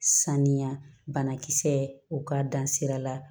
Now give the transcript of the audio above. Saniya banakisɛ u k'a dan sira la